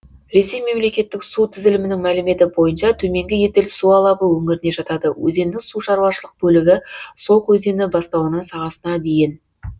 ресей мемлекеттік су тізілімінің мәліметі бойынша төменгі еділ су алабы өңіріне жатады өзеннің сушаруашылық бөлігі сок өзені бастауынан сағасына дейін